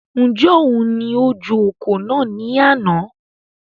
Njẹ oun ní o ju ọ̀kọ̀ náà ní àna?